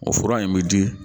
O fura in bɛ di